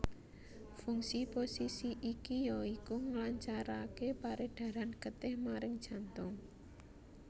Fungsi posisi iki ya iku nglancaraké peredaran getih maring jantung